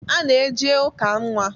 A na-eje ụka nnwa.